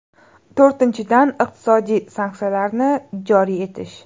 To‘rtinchidan, iqtisodiy sanksiyalarni joriy etish.